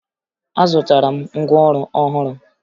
Azụtara m ngwaọrụ ọhụrụ